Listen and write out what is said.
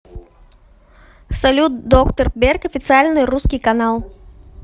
салют доктор берг официальный русский канал